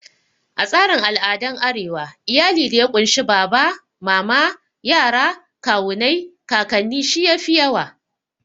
A tsarin al'adan arewa, iyali da ya kunshi baba, mama, yara, kawunai, kakannin shi yafi yawa